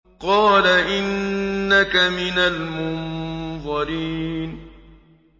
قَالَ إِنَّكَ مِنَ الْمُنظَرِينَ